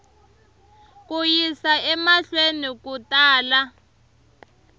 ku yisa emahlweni ku tala